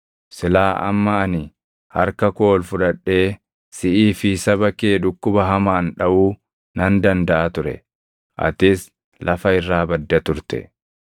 Silaa amma ani harka koo ol fudhadhee siʼii fi saba kee dhukkuba hamaan dhaʼuu nan dandaʼa ture; atis lafa irraa badda turte.